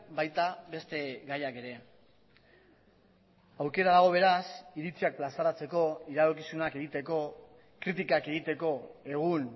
baita beste gaiak ere aukera dago beraz iritziak plazaratzeko iradokizunak egiteko kritikak egiteko egun